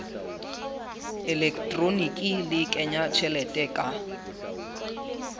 elektroniki le kenya tjhelete ka